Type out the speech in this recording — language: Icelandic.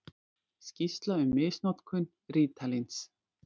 Skýrsla um misnotkun rítalíns.